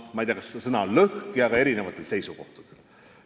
Ma ei tea, kas ta on just lõhki, aga on erinevatel seisukohtadel.